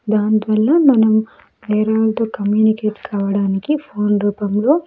దానివల్ల మనం వేరే వళ్ళతో కమ్యూనికేట్ కావడానికి ఫోన్ రూపంలో.